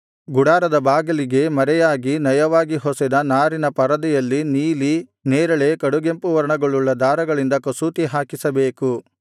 ಗುಡಾರದ ಬಾಗಿಲಿಗೆ ಮರೆಯಾಗಿ ನಯವಾಗಿ ಹೊಸೆದ ನಾರಿನ ಪರದೆಯಲ್ಲಿ ನೀಲಿ ನೆರಳೆ ಕಡುಗೆಂಪು ವರ್ಣಗಳುಳ್ಳ ದಾರಗಳಿಂದ ಕಸೂತಿ ಹಾಕಿಸಬೇಕು